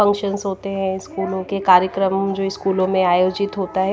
Functions होते हैं स्कूलों के कार्यक्रम जो स्कूलों में आयोजित होता है।